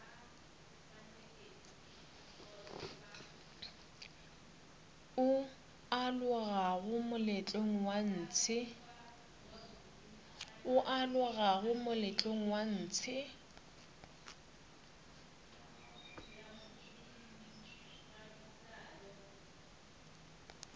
o alogago moletlong wa ntshe